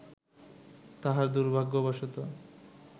তাহার দুর্ভাগ্যবশত